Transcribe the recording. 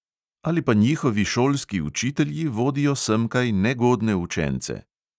Ali pa njihovi šolski učitelji vodijo semkaj negodne učence.